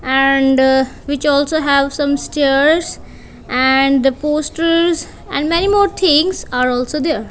and which also have some stairs and the posters and many more things are also there.